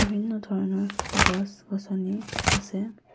বিভিন্ন ধৰণৰ গছ-গছনি আছে।